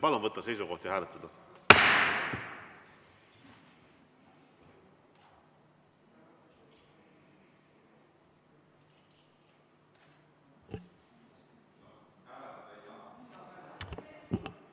Palun võtta seisukoht ja hääletada!